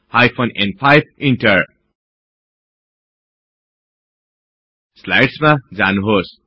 hyphen न्5 inter स्लाईड्समा जानुहोस्